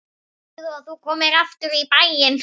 Hvenær heldurðu að þú komir aftur í bæinn?